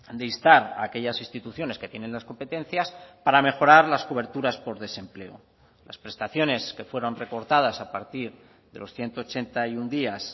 de instar a aquellas instituciones que tienen las competencias para mejorar las coberturas por desempleo las prestaciones que fueron recortadas a partir de los ciento ochenta y uno días